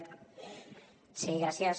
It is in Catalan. sí gràcies